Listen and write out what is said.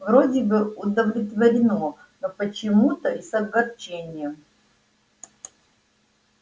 вроде бы удовлетворённо но почему-то и с огорчением